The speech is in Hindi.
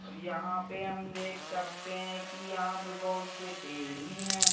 और यहाँ पे हम देख सकते हैं कि यहाँ पे बहुत से पेड़ भी हैं।